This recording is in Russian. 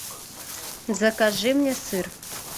закажи мне сыр